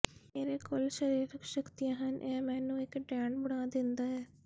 ਮੇਰੇ ਕੋਲ ਸਰੀਰਕ ਸ਼ਕਤੀਆਂ ਹਨ ਇਹ ਮੈਨੂੰ ਇੱਕ ਡੈਣ ਬਣਾ ਦਿੰਦਾ ਹੈ